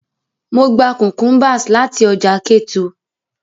Mo gba cucumbers lati ọja Ketu.